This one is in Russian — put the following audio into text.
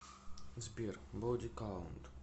сбер боди каунт